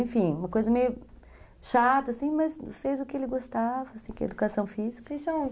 Enfim, uma coisa meio chata, assim, mas fez o que ele gostava, que é educação física.